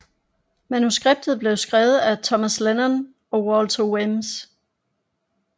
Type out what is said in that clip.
Manuskriptet blev skrevet af Thomas Lennon og Walter Weems